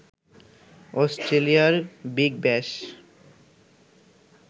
অস্ট্রেলিয়ার বিগ ব্যাশ